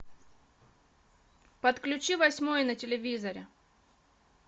подключи восьмой на телевизоре